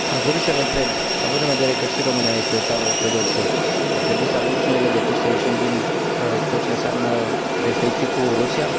Aș dori să vă întreb având în vedere că și România este o țară ortodoxă, ar trebui să avem și noi legături să ieșim din tot ce înseamnă restricții cu Rusia?